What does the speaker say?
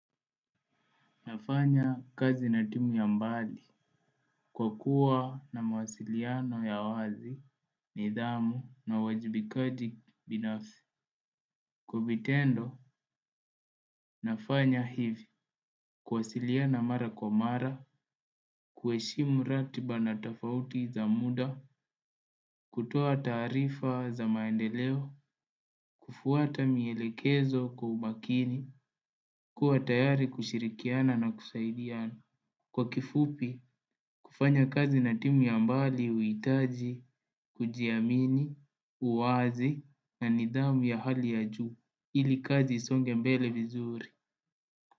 Nafanya kazi na timu ya mbali, kwa kuwa na mawasiliano ya wazi, nidhamu na uwajibikaji binafsi. Kwa vitendo, nafanya hivi, kuwasiliana mara kwa mara, kuheshimu ratiba na tafauti za muda, kutoa taarifa za maendeleo, kufuata mielekezo kwa umakini, kuwa tayari kushirikiana na kusaidiana. Kwa kifupi, kufanya kazi na timu ya mbali huhitaji, kujiamini, uwazi na nidhamu ya hali ya juu, ili kazi isonge mbele vizuri.